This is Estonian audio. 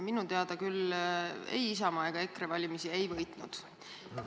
Minu teada küll ei Isamaa ega EKRE valimisi ei võitnud.